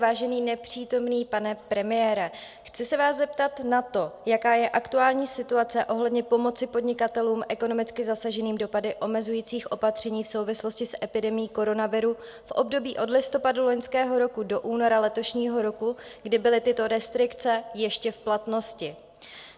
Vážený nepřítomný pane premiére, chci se vás zeptat na to, jaká je aktuální situace ohledně pomoci podnikatelům ekonomicky zasaženým dopady omezujících opatření v souvislosti s epidemií koronaviru v období od listopadu loňského roku do února letošního roku, kdy byly tyto restrikce ještě v platnosti.